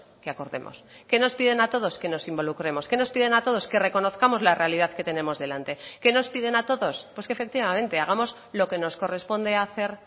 que acordemos qué nos piden a todos que nos involucremos qué nos piden a todos que reconozcamos la realidad que tenemos delante qué nos piden a todos pues que efectivamente hagamos lo que nos corresponde hacer